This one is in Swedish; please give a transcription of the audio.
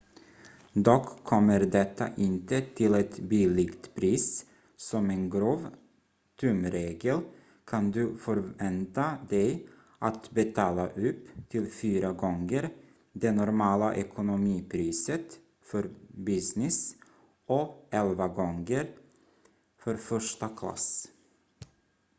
dock kommer detta inte till ett billigt pris som en grov tumregel kan du förvänta dig att betala upp till fyra gånger det normala economy-priset för business och elva gånger för första klass